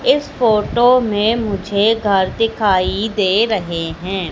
इस फोटो में मुझे घर दिखाई दे रहे है।